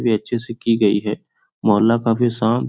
ये अच्छे से की गई हैं मोहल्ला काफी शांत --